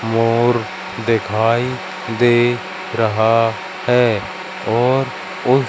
मोर दिखाई दे रहा है और उस--